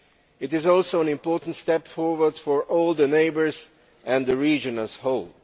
It is also an important step forward for all the neighbours and the region as a whole.